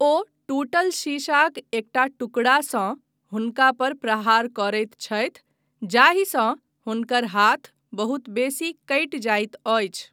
ओ टूटल शीशाक एकटा टुकड़ासँ हुनका पर प्रहार करैत छथि जाहिसँ हुनकर हाथ बहुत बेसी कटि जाइत अछि।